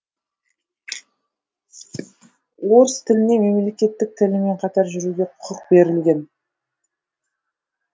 орыс тіліне мемлекеттік тілмен қатар жүруге құқық берілген